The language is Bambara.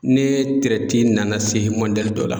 Ne nana se mɔdɛli dɔ la.